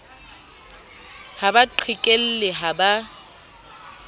ha ba qhekelle ha ba